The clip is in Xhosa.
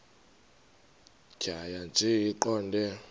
tjhaya nje iqondee